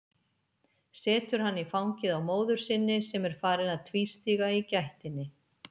Setur hann í fangið á móður sinni sem er farin að tvístíga í gættinni.